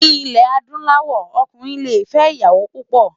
Ni ilè àdúláwò òkúnrin lé fè iyàwó púpò